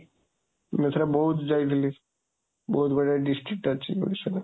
ମୁଁ ଏଥର ବୌଦ୍ଧ ଯାଇଥିଲି, ବହୁତ ବଢ଼ିଆ district ଅଛି ଓଡ଼ିଶାରେ।